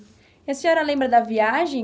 E a senhora lembra da viagem?